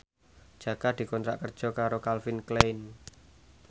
Jaka dikontrak kerja karo Calvin Klein